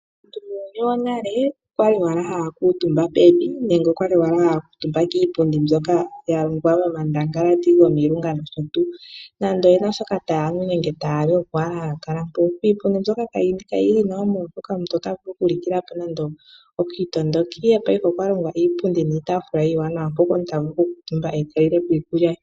Muuyuni wonale aantu oya li owala haya kuutumba pevi nenge oya li haya kuutumba kiipundi mbyoka ya longwa momandangalati gomilunga nosho tuu. Nande oye na shoka taya nu nenge taya li oko owala haya kala hoka. Iipundi mbyoka kayi li nawa, oshoka aantu otaya vulu okulikila ko nando okiitondoki, ihe paife okwa longwa iipundi niitaafula iiwanawa hoka omuntu ta vulu okukuutumba e ta lile ko iikulya ye.